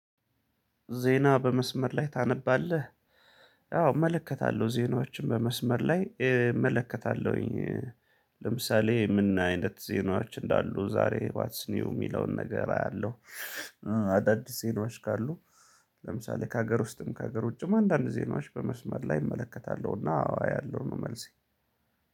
ዜና በመስመር ላይ ታነባለህ? ያው እመለከታለሁ ዜናዎችን በመስመር ላይ እመለከታለሁኝ። ለምሳሌ ምን አይነት ዜናዎች እንዳሉ ዛሬ ዋትስ ኒው የሚለውን ነገር አያለው። አዳዲስ ዜናዎች ካሉ ለምሳሌ ከሀገር ውስጥም ከሀገር ውጭም አንዳንድ ዜናዎች በመስመር ላይ እመለከታለሁ። እና አዎ አያለው ነው መልሴ።